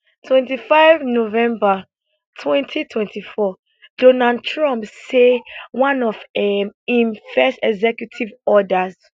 25 november 2024donald trump say one of um im first executive orders